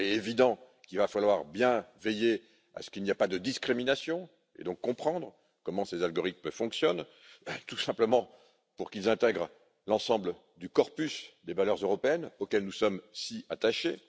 Il est évident qu'il va falloir bien veiller à ce qu'il n'y ait pas de discrimination, et donc comprendre comment ces algorithmes fonctionnent, tout simplement pour qu'ils respectent l'ensemble du corpus des valeurs européennes auxquelles nous sommes si attachés.